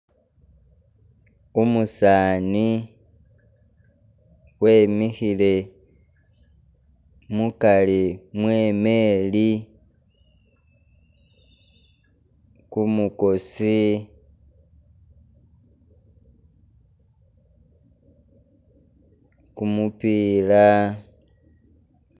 Umusani wemikhile mukari mwe imeri, kumukoosi kumupiila